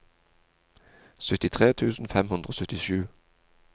syttitre tusen fem hundre og syttisju